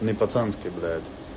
не пацанский блядь